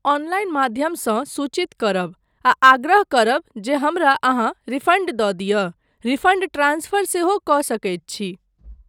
Online माध्यमसँ सूचित करब, आ आग्रह करब जे हमरा अहाँ रिफण्ड दऽ दिय। रिफण्ड ट्रान्सफर सेहो कऽ सकैत छी।